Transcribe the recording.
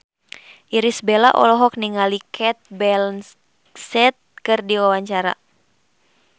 Irish Bella olohok ningali Cate Blanchett keur diwawancara